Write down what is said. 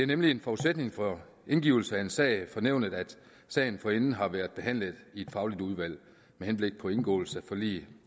nemlig en forudsætning for at indgive en sag for nævnet at sagen forinden har været behandlet i et fagligt udvalg med henblik på indgåelse af forlig